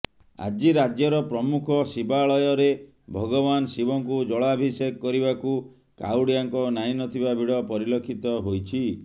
ଆଜି ରାଜ୍ୟର ପ୍ରମୁଖ ଶିବାଳୟରେ ଭଗବାନ ଶିବଙ୍କୁ ଜଳାଭିଷେକ କରିବାକୁ କାଉଡ଼ିଆଙ୍କ ନାହିଁ ନଥିବା ଭିଡ଼ ପରିଲକ୍ଷିତ ହୋଇଛି